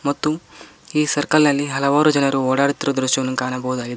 ಮತ್ತು ಈ ಸರ್ಕಲ್ ನಲ್ಲಿ ಹಲವಾರು ಜನರು ಓಡಾಡುತ್ತಿರುವುದನ್ನು ದೃಶ್ಯವನ್ನು ಕಾಣಬಹುದಾಗಿದೆ.